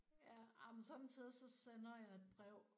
Ja. Ej men sommetider så sender jeg et brev